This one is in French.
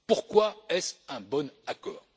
Pourquoi est ce un bon accord?